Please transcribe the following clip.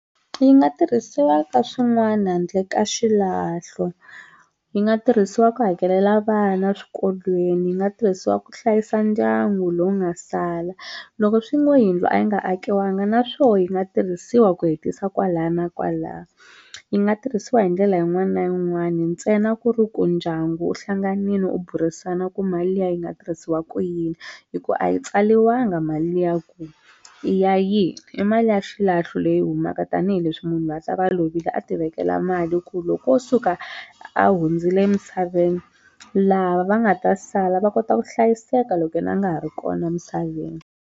Yi nga tirhisiwa ka swin'wana handle ka xilahlo yi nga tirhisiwa ku hakelela vana swikolweni yi nga tirhisiwa ku hlayisa ndyangu lowu nga sala loko swi ngo yindlu a yi nga akiwanga naswona yi nga tirhisiwa ku hetisa kwala na kwala yi nga tirhisiwa hi ndlela yin'wana na yin'wani ntsena ku ri ku ndyangu wu hlanganini wu burisana ku mali liya yi nga tirhisiwa ku yini hi ku a yi tsaliwanga mali liya ku i ya yini i mali ya xilahlo leyi humaka tanihileswi munhu lovile a ti vekela mali ku loko wo suka a hundzile emisaveni lava va nga ta sala va kota ku hlayiseka loko yena a nga ha ri kona emisaveni.